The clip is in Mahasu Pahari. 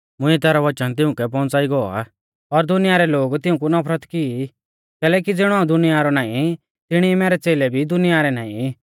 मुंइऐ तैरौ वचन तिउंकै पौउंच़ाई गौ आ और दुनिया रै लोग तिऊंकु नफरत की कैलैकि ज़िणौ हाऊं दुनिया रौ नाईं तिणी ई मैरै च़ेलै भी दुनिया रै नाईं